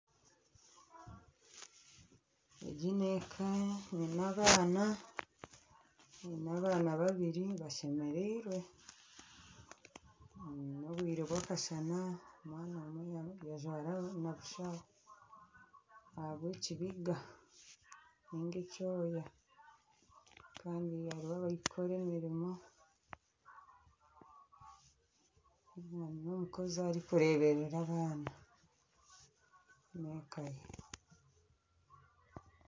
Egi n'eka erimu abaana babiri bashemereirwe. N'obwire bw'akashana bajwire busha ahabwa ekibiga Kandi hariho abarikukora emirimo, hariho n'omukozi arikureberera abaana.